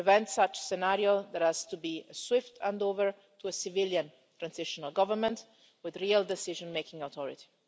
To prevent such a scenario, there has to be a swift handover to a civilian transitional government with real decision making authority.